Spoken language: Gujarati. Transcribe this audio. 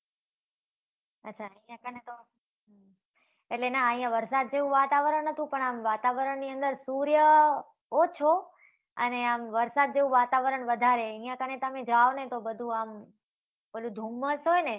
અચ્છા, ત્યાં કણે તો, એટલે ના, અહીંયા વરસાદ જેવું વાતાવરણ હતું પણ આમ વાતાવરણ ની અંદર સૂર્ય ઓછો અને આમ, વરસાદ જેવું વાતાવરણ વધારે. અહીંયા કણે તમે જાવ ને તો બધુ આમ, પેલુ ધુમ્મ્સ હોય ને?